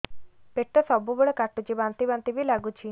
ପେଟ ସବୁବେଳେ କାଟୁଚି ବାନ୍ତି ବାନ୍ତି ବି ଲାଗୁଛି